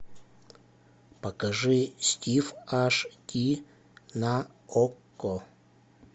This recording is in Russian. покажи стив аш ди на окко